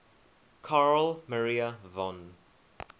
carl maria von